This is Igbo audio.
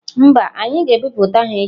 Mba, anyị ga-ebipụta ha echi.